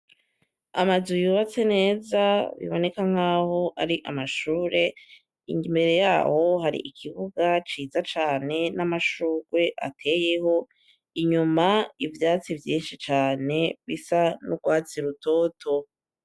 Amazu yubatse neza biboneka nk'aho ari amashure. Imbere yaho hari ikibuga ciza cane n'amashurwe ateyeho, inyuma, ivyatsi vyinshi cane bisa n'urwatsi rutoto.